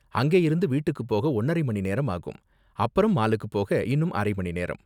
அங்கயிருந்து வீட்டுக்கு போக ஒன்னரை மணி நேரம் ஆகும், அப்பறம் மாலுக்கு போக இன்னும் அரை மணி நேரம்.